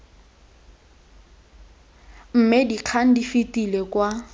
mme dikgang di fetele kwa